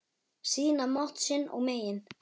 Sýna mátt sinn og megin.